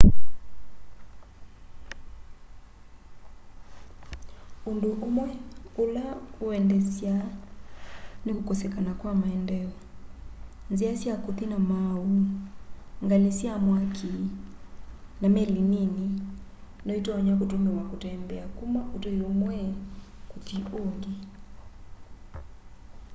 ũndũ ũmwe ũla ũendesyaa nĩ kũkosekana kwa maendeeo nzĩa sya kũthĩ na maaũ ngalĩ sya mwakĩ na meli nĩnĩ nyoĩtonya kũtũmĩwa kũtembea kũma ũtũĩ ũmwe kũthĩ ũngĩ